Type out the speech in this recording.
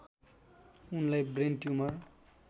उनलाई brain tumour